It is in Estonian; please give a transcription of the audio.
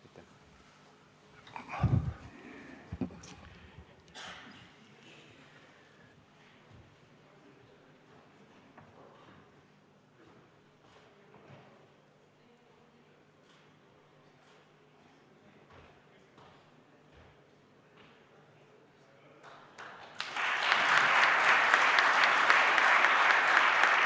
Aitäh!